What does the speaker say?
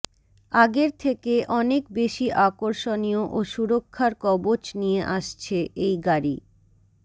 আগের থেকে অনেক বেশি আকর্ষণীয় ও সুরক্ষার কবচ নিয়ে আসছে এই গাড়ি